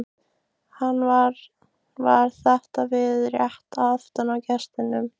Hann var við þetta rétt aftan við gestinn.